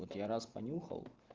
вот я раз понюхал